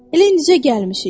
Elə indicə gəlmişik.